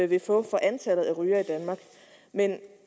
vil få for antallet af rygere i danmark men